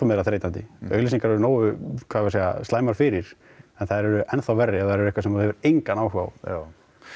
meira þreytandi auglýsingar eru nógu slæmar fyrir en þær eru enn þá verri ef þær eru eitthvað sem þú hefur ENGANN áhuga á já